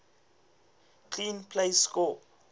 clean plays score